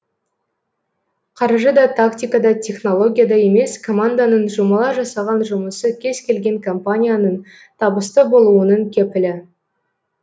қаржы да тактика да технология да емес команданың жұмыла жасаған жұмысы кез келген компанияның табысты болуының кепілі